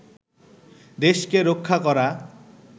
দেশকে রক্ষা করা